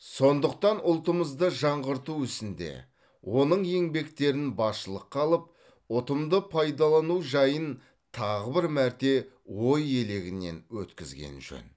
сондықтан ұлтымызды жаңғырту ісінде оның еңбектерін басшылыққа алып ұтымды пайдалану жайын тағы бір мәрте ой елегінен өткізген жөн